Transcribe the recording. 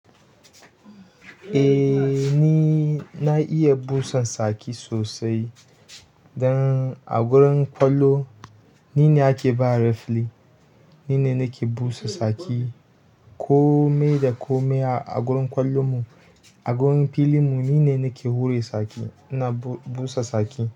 Eh ni na iya busan saki sosai. Dan a gurin ƙwallo ni ne ake ba refri, ni ne nake busa saki kome da kome a gurin ƙwallon mu. A gurin filin mu ni ne nake hure saki ina busa saki.